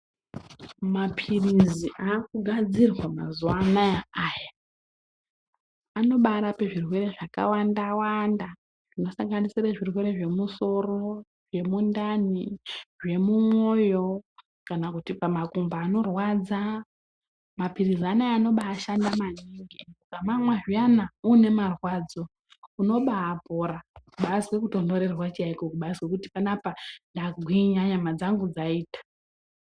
Maphirizi akagadzirwa mazuwa anaya Aya anobarape zvirwere zvakawanda wanda zvinosanganisire zvirwere zvemusoro zvemundani, zvemumoyo kana kuti pamakumbo anorwadza. Maphirizi anaya anobashanda maningi. UKamamwa zviya uine marwadzo unobapora. Kubazwe kutonhorerwa chaikwo kubazwe kuti panapa ndagwinya nyama dzangu dzaita.